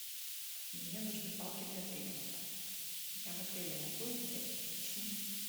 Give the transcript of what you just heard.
мне нужны палки для треккинга я в отеле могу их взять уточни